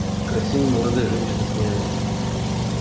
красивые молодые женщины смеялись